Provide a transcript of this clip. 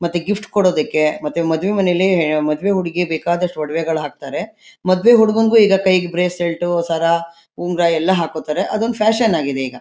ಮತ್ತೆ ಗಿಫ್ಟ್ ಕೊಡೋದಕ್ಕೆ ಮತ್ತೆ ಮದ್ವೆ ಮನೇಲಿ ಮದ್ವೆ ಹುಡ್ಗಿ ಬೇಕಾದಷ್ಟ್ ವೊಡಿವೆಗಳ್ ಹಾಕ್ತಾರೆ. ಮದ್ವೆ ಹುಡುಗುನ್ಗು ಈಗ ಕೈಗ್ ಬ್ರೇಸ್ಲೈಟ್ ಸರ ಉಂಗುರ ಎಲ್ಲ ಹಾಕೊತಾರೆ. ಅದೊಂದ್ ಫ್ಯಾಷನ್ ಆಗಿದೆ ಈಗ.